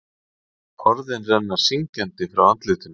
Orðin renna syngjandi frá andlitinu.